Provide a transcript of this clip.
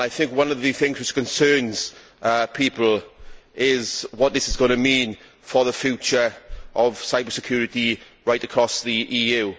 One of the things that concerns people is what this is going to mean for the future of cyber security right across the EU.